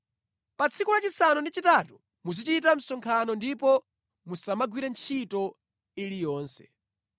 “ ‘Pa tsiku lachisanu ndi chitatu muzichita msonkhano ndipo musamagwire ntchito iliyonse.